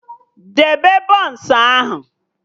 Debe bọns ahụ!